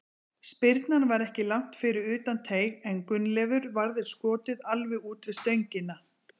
Spyrnan var ekki langt fyrir utan teig en Gunnleifur varði skotið alveg út við stöngina.